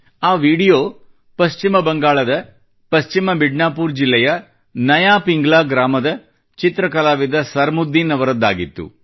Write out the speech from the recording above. ಆ ವಿಡಿಯೋ ಪಶ್ಚಿಮ ಬಂಗಾಳದ ಪಶ್ಚಿಮ ಮಿಡ್ನಾಪುರ ಜಿಲ್ಲೆಯ ನಯಾ ಪಿಂಗ್ಲಾʼ ಗ್ರಾಮದ ಚಿತ್ರ ಕಲಾವಿದ ಸರಮುದ್ದೀನ್ ಅವರದ್ದಾಗಿತ್ತು